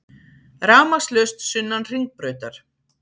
Rafmagnslaust sunnan Hringbrautar